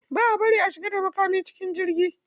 Ba a bari a shiga da makami cikin jirgi.